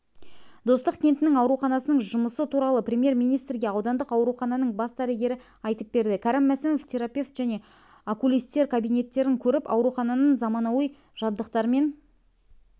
достық кентінің ауруханасының жұмысы туралы премьер-министрге аудандық аурухананың бас дәрігері айтып берді кәрім мәсімов терапевт және окулисткабинеттерін көріп аурухананың заманауи жабдықтармен